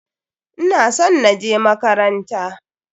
Ina son na je makaranta.